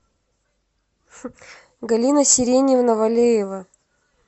галина сиреньевна валеева